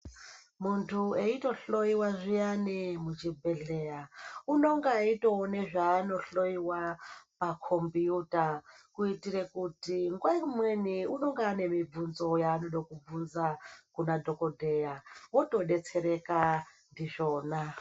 Muntu eitohloiwa zviyani muzvibhedhleya unonga eitone zvanohoiwa pakombiyuta. Kuitire kuti nguva imweni anonge aine mibvudzo yaanoda kubvunza kunadhogodheya votobetsereka ndizvona.